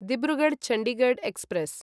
Dibrugarh Chandigarh express